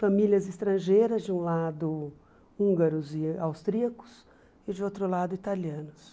Famílias estrangeiras, de um lado húngaros e austríacos, e de outro lado italianos.